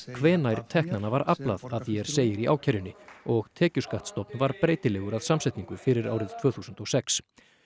hvenær teknanna var aflað að því er segir í ákærunni og var breytilegur að samsetningu fyrir árið tvö þúsund og sex